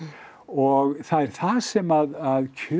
og það er það sem kjörið